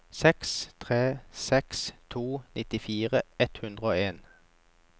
seks tre seks to nittifire ett hundre og en